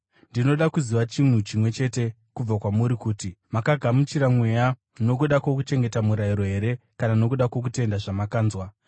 Ndinoda kuziva chinhu chimwe chete kubva kwamuri kuti: Makagamuchira Mweya nokuda kwokuchengeta murayiro here, kana nokuda kwokutenda zvamakanzwa?